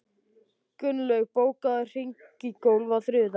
Gunnlaug, bókaðu hring í golf á þriðjudaginn.